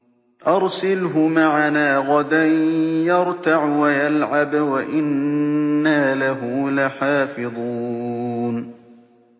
أَرْسِلْهُ مَعَنَا غَدًا يَرْتَعْ وَيَلْعَبْ وَإِنَّا لَهُ لَحَافِظُونَ